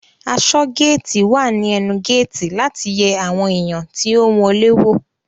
Aṣọgéétì wà ní ẹnu géétì láti yẹ àwọn èèyàn tí ó ń wọlé wò